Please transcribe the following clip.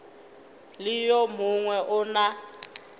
le yo mongwe o na